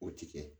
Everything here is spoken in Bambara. O ti kɛ